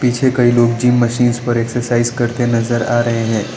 पीछे कई लोग जिम मशीनस पर एक्सरसाइ करते नजर आ रहे हैं।